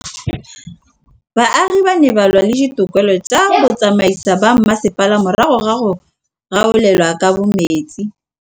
Baagi ba ne ba lwa le ditokolo tsa botsamaisi ba mmasepala morago ga go gaolelwa kabo metsi